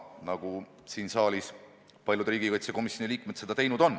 Nii on paljud saalis olevad riigikaitsekomisjoni liikmed ka teinud.